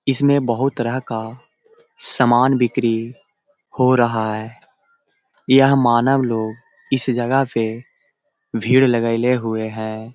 इसमें बहुत तरह का सामान बिक्री हो रहा है । यह मानव लोग इस जगह पे भीड़ लगइले हुए है ।